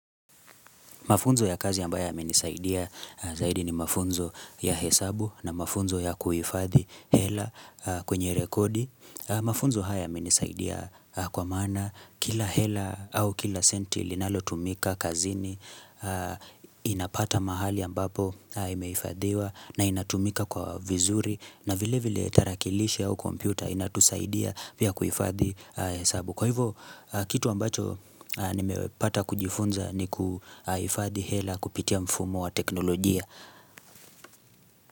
Mafunzo ya kazi ambayo ya menisaidia zaidi ni mafunzo ya hesabu na mafunzo ya kuhifadhi hela kwenye rekodi. Mafunzo haya ya menisaidia kwa maana kila hela au kila senti linalo tumika kazini inapata mahali ambapo imeifadhiwa na inatumika kwa vizuri na vile vile tarakilishi au kompyuta inatusaidia pia kuhifadhi hesabu. Kwa hivyo, kitu ambacho nimepata kujifunza ni kuhifadhi hela kupitia mfumo wa teknolojia.